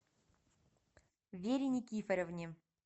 вере никифоровне